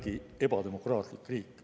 … hinnangu järgi ebademokraatlik riik.